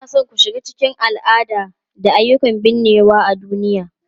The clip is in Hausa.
Kuna so ku shiga cikin al'ada da ayyukan binnewa a duniya?